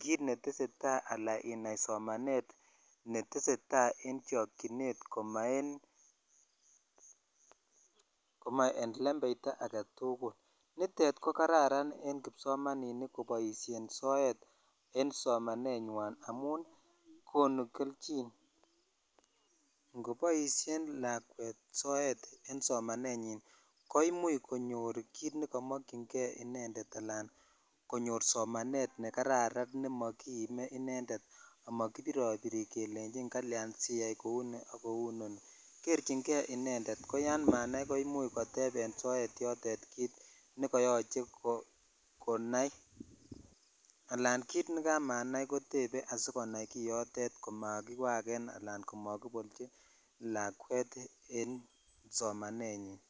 kiit neteseta alaan inai somanet neteseta en chokyinet koma en lembeita eketukul, nitet ko kararan en kipsomaninik koboishen soet en somanenywan amun konuu kelchin, ngoboishen lakwet soet en somanenyin koimuch konyor kiit nekomokying'e inendet alaan konyor somanet nekararan nemokiime inendet amokibirobiri kelenchin kalyan siyai kouni ak kouu inoni, kerching'e inendet ko yoon manai ko imuch koteb en soet yotet kiit nekoyoche konai alan kiit nekamanai kotebe asikonai kiyotet komakiwaken alaan komokibolchi lakwet en somanenyin.